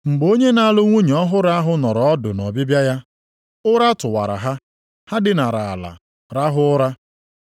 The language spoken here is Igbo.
Mgbe onye na-alụ nwunye ọhụrụ ahụ nọrọ ọdụ nʼọbịbịa ya, ụra tụwara ha, ha dinara ala rahụ ụra.